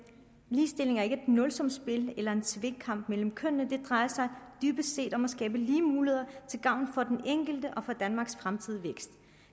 ligestilling er ikke et nulsumsspil eller en tvekamp mellem kønnene det drejer sig dybest set om at skabe lige muligheder til gavn for den enkelte og for danmarks fremtidige vækst